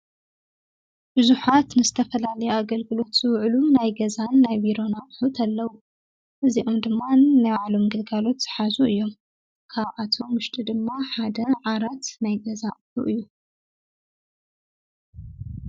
ቡዙሓት ዝተፋላለዩ ኣገልግሎት ዝዉዑሉ ናይ ገዛን ናይ ቢሮን ኣቁሑት ኣለዉ። እዚኦም ድማ ነናይ ባዕሎም ግልጋሎት ዝሓዙ እዮም። ካብኣቶሞ ዉሽጢ ድማ ሓደ ዓራት ናይ ገዛ ኣቁሑ እዩ።